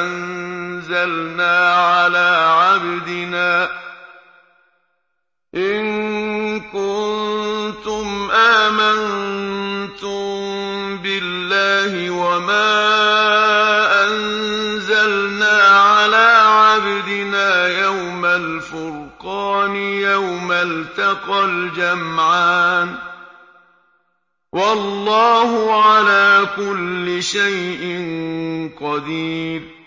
أَنزَلْنَا عَلَىٰ عَبْدِنَا يَوْمَ الْفُرْقَانِ يَوْمَ الْتَقَى الْجَمْعَانِ ۗ وَاللَّهُ عَلَىٰ كُلِّ شَيْءٍ قَدِيرٌ